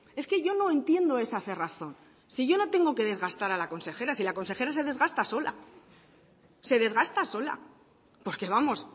es que yo no entiendo esa cerrazón si yo no tengo que desgastar a la consejera si la consejera se desgasta sola se desgasta sola porque vamos